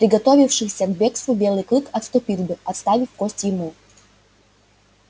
приготовившийся к бегству белый клык отступил бы оставив кость ему